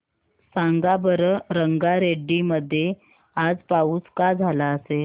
सांगा बरं रंगारेड्डी मध्ये आज पाऊस का झाला असेल